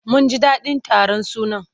Mun ji daɗin taron sunan.